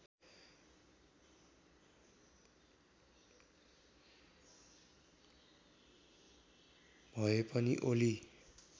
भए पनि ओली